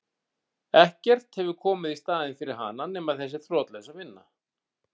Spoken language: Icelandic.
Ekkert hefur komið í staðinn fyrir hana nema þessi þrotlausa vinna.